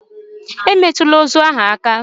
Emetụla ozu ahụ aka!